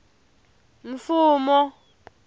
mfumo